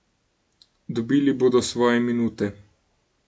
Dobili bodo svoje minute.